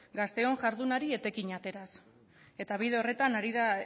gazteon jardunari etekina ateraz eta bide horretan ari da